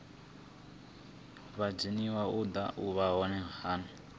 wa zwa dzinn ḓu wa